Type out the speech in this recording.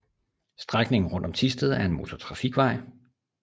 Strækningen rundt om Thisted er en motortrafikvej